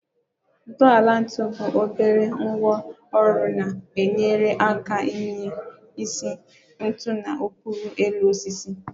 Ntọala ntu bụ obere ngwá ọrụ na-enyere aka iminye isi ntu na okpuru elu osisi